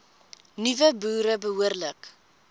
nuwe boere behoorlik